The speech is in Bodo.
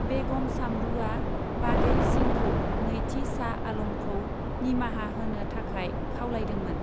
बेगम सामरुआ बाघेल सिंहखौ नैथि शाह आलमखौ निमाहा होनो थाखाय खावलायदोंमोन।